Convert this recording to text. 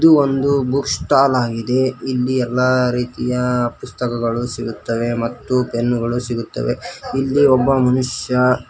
ಇದು ಒಂದು book stall ಆಗಿದೆ ಇಲ್ಲಿ ಎಲ್ಲಾ ರೀತಿಯ ಪುಸ್ತಕಗಳು ಸಿಗುತ್ತವೆ ಮತ್ತು ಪೆನ್ನುಗಳು ಸಿಗುತ್ತವೆ ಇಲ್ಲಿ ಒಬ್ಬ ಮನುಷ್ಯ.